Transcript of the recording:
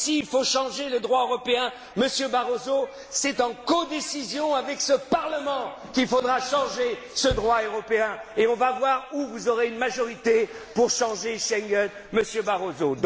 européen. S'il faut changer le droit européen, Monsieur Barroso, c'est en codécision avec ce Parlement qu'il faudra le changer, ce droit européen, et on va voir où vous aurez une majorité pour changer Schengen, Monsieur